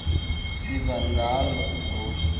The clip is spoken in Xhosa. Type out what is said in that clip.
siva ngalo ngo